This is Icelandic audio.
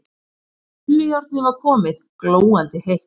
Krullujárnið var komið, glóandi heitt.